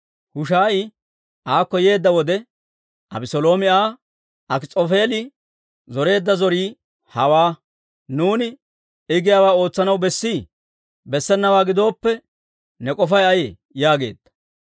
Hushaayi aakko yeedda wode, Abeseeloomi Aa, «Akis'oofeeli zoreedda zorii hawaa; nuuni I giyaawaa ootsanaw bessii? Bessenawaa gidooppe, ne k'ofay ayee?» yaageedda.